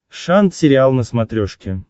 шант сериал на смотрешке